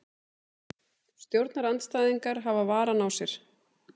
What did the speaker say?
Stjórnarandstæðingar hafa varann á sér